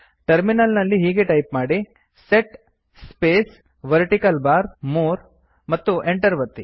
terminal ನಲ್ಲಿ ಹೀಗೆ type ಮಾಡಿ set space vertical bar | more ಮತ್ತು enter ಒತ್ತಿ